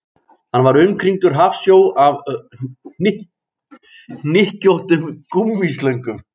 Hann var umkringdur hafsjó af hlykkjóttum gúmmíslöngum